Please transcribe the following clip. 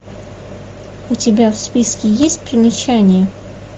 у тебя в списке есть примечание